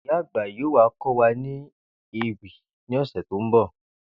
Ìyá àgbà yóò wá kó̩ wa ni ewì ní ò̩sè̩ tó ń bò